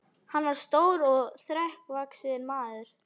Hann var stór og þrekvaxinn maður.